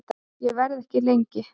Ég verð ekki lengi